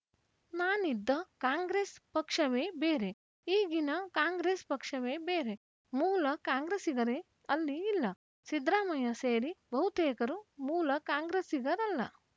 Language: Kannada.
ನಾನಿದ್ದ ಕಾಂಗ್ರೆಸ್‌ ಪಕ್ಷವೇ ಬೇರೆ ಈಗಿನ ಕಾಂಗ್ರೆಸ್‌ ಪಕ್ಷವೇ ಬೇರೆ ಮೂಲ ಕಾಂಗ್ರೆಸ್ಸಿಗರೇ ಅಲ್ಲಿ ಇಲ್ಲ ಸಿದ್ದರಾಮಯ್ಯ ಸೇರಿ ಬಹುತೇಕರು ಮೂಲ ಕಾಂಗ್ರೆಸ್ಸಿಗರಲ್ಲ